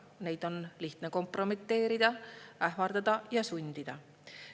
Neid on lihtne kompromiteerida, ähvardada ja sundida.